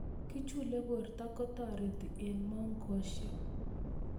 kechule porto kotareti eng' mongoshek